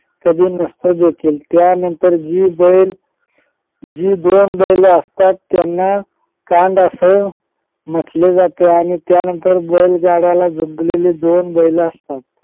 कधी नसतो देखील कारण त्यानंतर जी बैल जी दोन बैल असतात त्यांना कांड असे म्हंटले जाते आणि त्यानंतर बैलगाड्याला जुंपलेले दोन बैल असतात.